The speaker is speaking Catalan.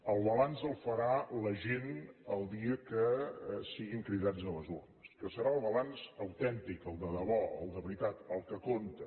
el balanç el farà la gent el dia que siguin cridats a les urnes que serà el balanç autèntic el de debò el de veritat el que compta